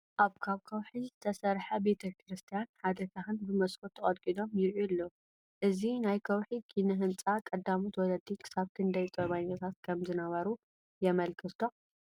ኣብ ካብ ከውሒ ዝተሰርሐ ቤተ ክርስቲያን ሓደ ካህን ብመስኮት ተቐልቂሎም ይርአዩ ኣለዉ፡፡ እዚ ናይ ከውሒ ኪነ ህንፃ ቀዳሞት ወለዲ ክሳብ ክንደይ ጥበበኛታት ከምዝነበሩ የመልክት ዶ?